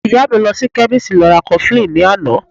Ìyá mi lọ sí chemist lọ ra cofflin ní àná